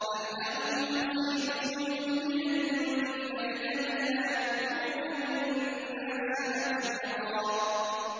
أَمْ لَهُمْ نَصِيبٌ مِّنَ الْمُلْكِ فَإِذًا لَّا يُؤْتُونَ النَّاسَ نَقِيرًا